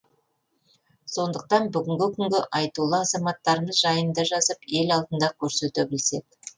сондықтан бүгінгі күнгі айтулы азаматтарымыз жайында жазып ел алдында көрсете білсек